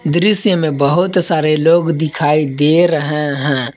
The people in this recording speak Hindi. दृश्य में बहुत सारे लोग दिखाई दे रहे हैं।